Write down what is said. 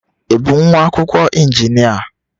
Ị bụ nwa akwụkwọ injinia?